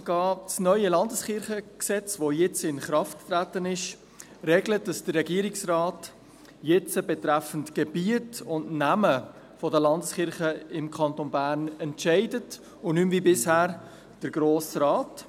Das neue Gesetz über die bernischen Landeskirchen (Landeskirchengesetz, LKG), welches jetzt in Kraft getreten ist, regelt, dass der Regierungsrat nun betreffend Gebiet und Namen der Landeskirchen im Kanton Bern entscheidet und nicht mehr, wie bisher, der Grosse Rat.